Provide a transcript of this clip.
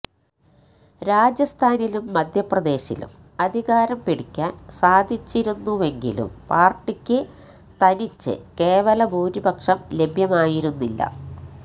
രാജസ്ഥാനിലും മധ്യപ്രദേശിലും അധികാരം പിടിക്കാന് സാധിച്ചിരുന്നുവെങ്കിലും പാര്ട്ടിക്ക് തനിച്ച് കേവല ഭൂരിപക്ഷം ലഭ്യമായിരുന്നില്ല